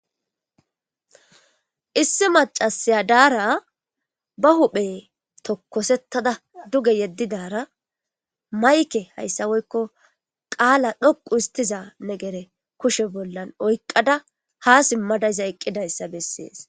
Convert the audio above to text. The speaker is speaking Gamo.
issi macasaya daara ba huphe tokkosettada duge yeddidara mayke hayssa woykko qaala dhoqu istiza ne gere kushe bollan oykqada ha simmadayza eqqidayssa bessees